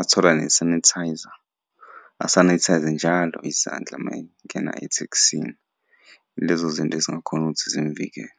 athola ne-sanitizer, asanithayze njalo izandla uma engena ethekisini. Ilezo zinto ezingakhona ukuthi zimuvikele.